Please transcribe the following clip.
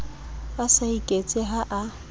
a sa iketse ha a